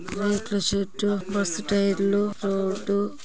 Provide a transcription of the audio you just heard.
టైర్లు రోడ్డు